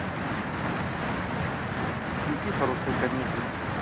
включи хорошую комедию